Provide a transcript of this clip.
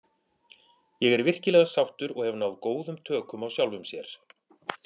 Ég er virkilega sáttur og hef náð góðum tökum á sjálfum sér.